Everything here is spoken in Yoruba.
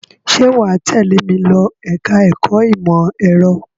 Ṣé wà á tẹ́lẹ̀ mi lọ ẹ̀ka-ẹ̀kọ́ ìmọ̀-ẹ̀rọ?